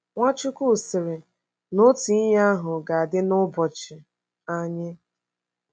Nwachukwu sịrị na otu ihe ahụ ga-adị n’ụbọchị anyị.